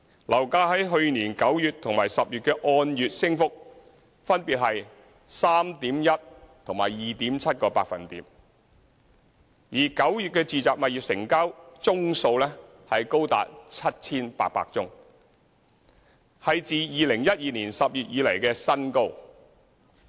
樓價在去年9月和10月的按月升幅分別是 3.1% 和 2.7%； 而9月的住宅物業成交宗數高達 7,800 宗，是自2012年10月以來的新高。